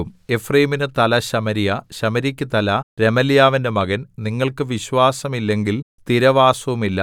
എഫ്രയീമിനു തല ശമര്യ ശമര്യയ്ക്കു തല രെമല്യാവിന്റെ മകൻ നിങ്ങൾക്ക് വിശ്വാസം ഇല്ലെങ്കിൽ സ്ഥിരവാസവുമില്ല